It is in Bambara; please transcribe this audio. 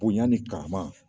Bonya ni karama